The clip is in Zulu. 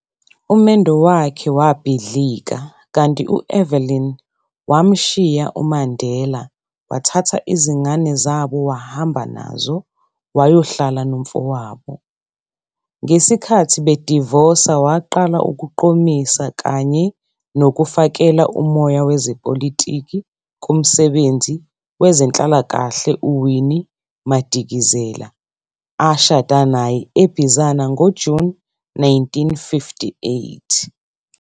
Umendo wakhe wabhidlika, kanti u-Evelyn wamshiya uMandela, wathatha izingane zabo wahamba nazo, wayohlala nomfowabo. Ngesikhathi bedivosa waqala ukuqomisa kanye nokufakela umoya wezepolitiki kumsebenzi wezenhlalakahle u-Winnie Madikizela, ashada naye eBizana ngoJuni 1958.